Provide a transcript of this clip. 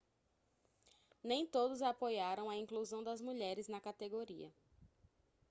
nem todos apoiaram a inclusão das mulheres na categoria